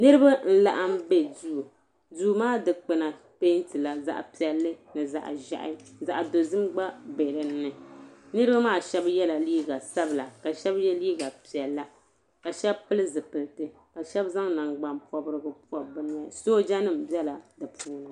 Niriba n laɣim be duu duu maa dikpina pentila zaɣa piɛli ni zaɣa ʒehi zaɣa dozim gba be dinni niriba maa sheba yela liiga sabila ka sheba ye liiga piɛla ka sheba pili zipilti sheba zaŋ nangban pobrigu pobi bɛ noya sooja nima bela bɛ puuni.